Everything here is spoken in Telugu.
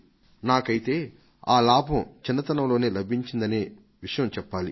నాకైతే ఆ లాభం చిన్నతనంలో లభించనే లభించింది